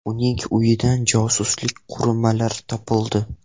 Uning uyidan josuslik qurilmalari topildi.